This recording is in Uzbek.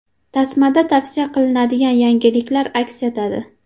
Tasmada tavsiya qilinadigan yangiliklar aks etadi.